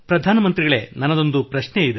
ಪ್ರಧಾನ ಮಂತ್ರಿಗಳೇ ನನ್ನದೊಂದು ಪ್ರಶ್ನೆ ಇದೆ